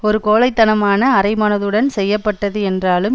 ஒரு கோழை தனமான அரைமனதுடன் செய்ய பட்டது என்றாலும்